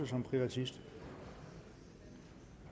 som privatist